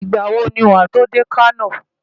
Ìgbà wo ni wàá tó dé Kano?